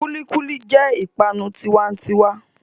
Kulikuli jẹ́ ipanu tiwa'n'tiwa.